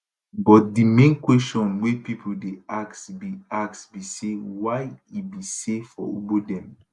but di main question wey pipo dey ask be ask be say why e be say for ugbo dem